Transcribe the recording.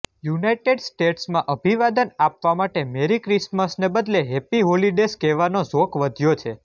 United સ્ટેટ્સમાં અભિવાદન આપવા માટે મેરી ક્રિસમસ ને બદલે હેપ્પી હોલિડેઝ કહેવાનો ઝોક વધ્યો છે